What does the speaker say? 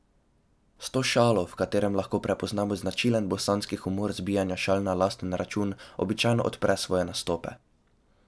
S to šalo, v kateri lahko prepoznamo značilen bosanski humor zbijanja šal na lasten račun, običajno odpre svoje nastope.